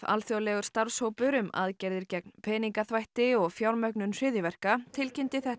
alþjóðlegur starfshópur um aðgerðir gegn peningaþvætti og fjármögnun hryðjuverka tilkynnti þetta